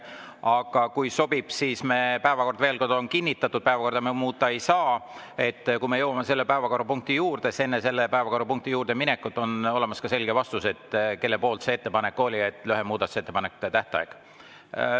Aga kui sobib – päevakord on kinnitatud, päevakorda me muuta ei saa –, siis enne selle päevakorrapunkti juurde minekut on olemas ka selge vastus, kelle ettepanek oli see lühem muudatusettepanekute tähtaeg.